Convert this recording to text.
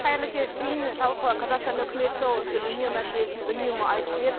қайырлы кеш зейін жалпы қазақстан үкіметі осы үнем мәселесін үнемі айтып келеді